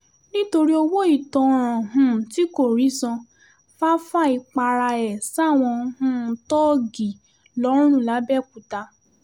nítorí owó ìtanràn um tí kò rí san fáfáì para ẹ̀ sáwọn um thoji lọ́run lápbèòkúta